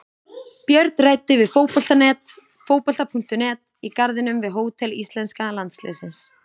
Björn ræddi við Fótbolta.net í garðinum við hótel íslenska landsliðsins.